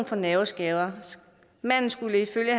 for nerveskader manden skulle ifølge